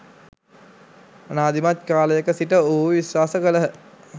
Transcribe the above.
අනාදිමත් කාලයක සිට ඔවුහු විශ්වාස කළහ.